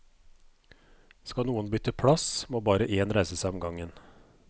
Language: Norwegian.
Skal noen bytte plass, må bare én reise seg om gangen.